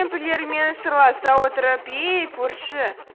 көрші кемпірлермен сырласа отырып ей көрші